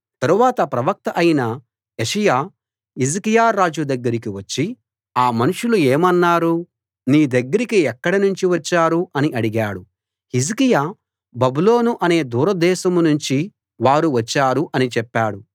తరువాత ప్రవక్త అయిన యెషయా హిజ్కియా రాజు దగ్గరికి వచ్చి ఆ మనుషులు ఏమన్నారు నీ దగ్గరికి ఎక్కడ నుంచి వచ్చారు అని అడిగాడు హిజ్కియా బబులోను అనే దూరదేశం నుంచి వారు వచ్చారు అని చెప్పాడు